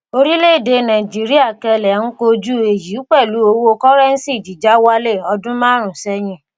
orílẹ̀ èdè nàìjíríà kẹlẹ̀ ń kojú èyí pẹ̀lú owó kọ́rẹ́ńsì jíjà wálẹ̀ odún márùn-ún sẹ́yìn.